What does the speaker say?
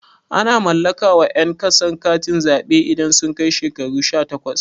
Ana mallaka wa ƴan ƙasa katin zaɓe idan sun kai shekaru shatakwas